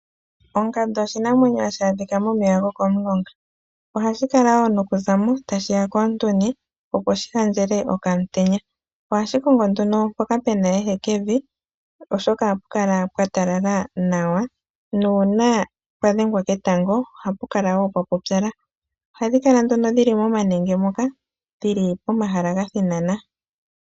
Ongandu oshinamwenyo hashi adhika momeya gokomulonga. Ohashi kala wo nokuza mo tashi ya koontuni, opo shi ontele okaantenya. Ohashi kongo mpoka pu na ehekevi, oshoka ohapu kala pwa talala nawa nuuna pwa dhengwa ketango ohapu kala wo pwa pupyala. Ohadhi kala nduno dhi li momanenge moka dhi li pomahala ga thinana.